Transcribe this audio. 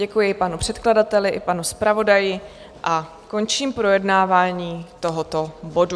Děkuji panu předkladateli i panu zpravodaji a končím projednávání tohoto bodu.